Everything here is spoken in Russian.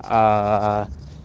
аа